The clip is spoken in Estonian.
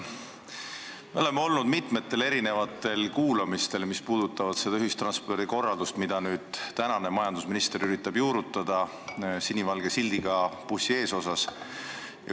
Me oleme olnud mitmetel erinevatel kuulamistel, mis puudutavad seda ühistranspordikorraldust, mida praegune majandusminister üritab juurutada sinivalge sildiga bussi esiklaasil.